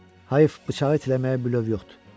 Hayf bıçağı itiləməyə bilöv yoxdur.